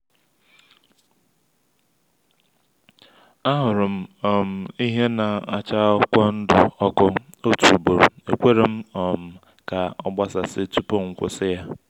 ahụrụ m um ihe na-acha akwụkwọ ndụ ọkụ otu ugboro ekwerem um ka ọ gbasasị tupu m kwusi-ya